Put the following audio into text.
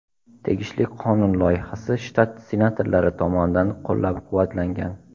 Tegishli qonun loyihasi shtat senatorlari tomonidan qo‘llab-quvvatlangan.